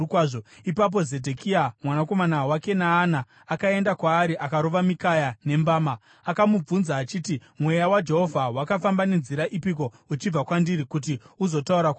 Ipapo Zedhekia mwanakomana waKenaana akaenda kwaari akarova Mikaya nembama. Akamubvunza achiti, “Mweya waJehovha wakafamba nenzira ipiko uchibva kwandiri kuti uzotaura kwauri?”